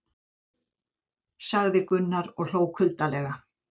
sagði Gunnar og hló kuldalega.